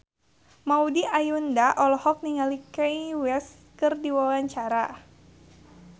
Maudy Ayunda olohok ningali Kanye West keur diwawancara